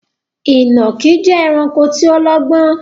Ìnàkí jẹ́ ẹranko tí ó lọ́gbọ́n